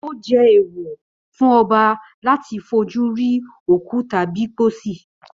Ó jẹ́ èèwọ̀ fún ọba láti fojú rí òkú tàbí pósí